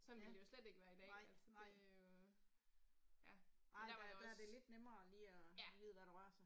Ja, nej nej. Nej der der er det lidt nemmere lige at vide hvad der rør sig